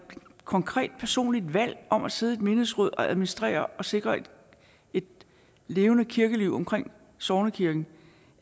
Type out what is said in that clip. konkret personligt valg om at sidde i et menighedsråd og administrere og sikre et levende kirkeliv omkring sognekirken